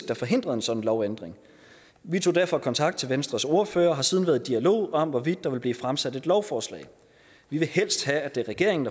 der forhindrede en sådan lovændring vi tog derfor kontakt til venstres ordfører og har siden været i dialog om hvorvidt der ville blive fremsat et lovforslag vi vil helst have at det er regeringen